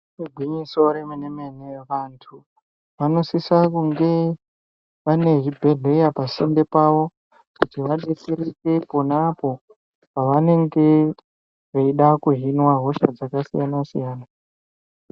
Igwinyiso remene-mene vantu vanosise kunge vane zvibhedhleya pasinde pavo. Kuti vabetseeke ponapo pavanenge veida kuhinwa hosha dzakasiyana-siyana.